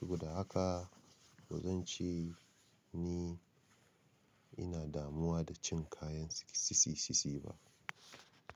Saboda haka ba zan ce ni ina damuwa da cin kayan sisi sisi ba.